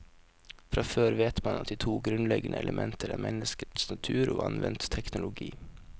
Fra før vet man at de to grunnleggende elementer er menneskets natur og anvendt teknologi.